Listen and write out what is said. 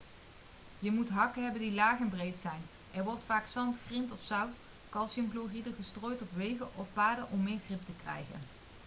je moet hakken hebben die laag en breed zijn. er wordt vaak zand grind of zout calciumchloride gestrooid op wegen of paden om meer grip te krijgen